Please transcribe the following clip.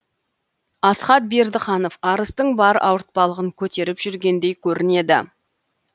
асхат бердіханов арыстың бар ауыртпалығын көтеріп жүргендей көрінеді